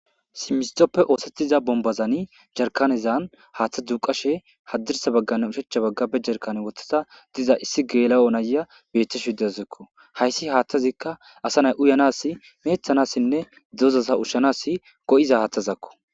Simintope osetida bombazani jarkanezan hathe duqashe hadirsane bagane ushacha bagan wothida diza naya betashedizasako haysi hathazika utanas mecetanasinne doza ushanas go'iza hathazako